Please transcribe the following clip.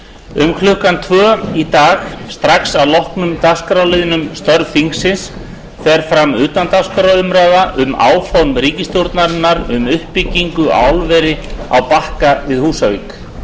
um klukkan tvö í dag strax að loknum dagskrárliðnum um störf þingsins fer fram utandagskrárumræða um áform ríkisstjórnarinnar um uppbyggingu á álveri á bakka við húsavík